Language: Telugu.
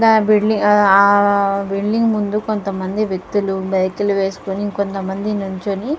ఆ బిల్డింగు ముందు కొంతమంది వ్యక్తులు బైకులు వెస్కొనికొంతమంది నించొని--